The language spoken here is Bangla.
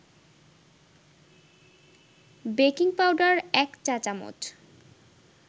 বেকিং পাউডার ১ চা-চামচ